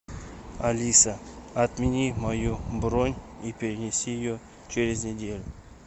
алиса отмени мою бронь и перенеси ее через неделю